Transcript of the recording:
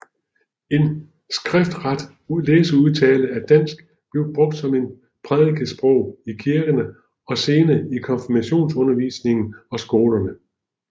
En skriftret læseudtale af dansk blev brugt som prædikesprog i kirkerne og senere i konfirmationsundervisningen og skolerne